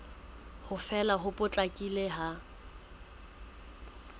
ho fela ho potlakileng ha